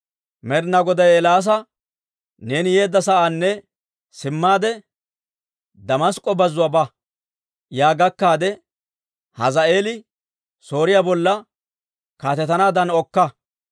Med'inaa Goday Eelaasa, «Neeni yeedda sa'aanna simmaade, Damask'k'o bazzuwaa ba. Yaa gakkaade, Hazaa'eeli Sooriyaa bolla kaatetanaaddan okka.